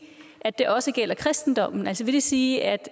at det også gælder kristendommen altså vil det sige